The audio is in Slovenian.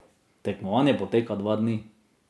Tekmovanje poteka dva dni.